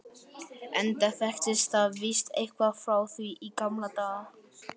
enda þekkist þið víst eitthvað frá því í gamla daga.